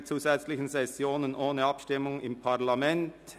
«Keine zusätzliche Session ohne Abstimmung im Parlament».